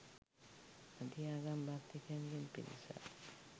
අධි ආගම් භක්තිකයන් ගෙන් පිරිසක්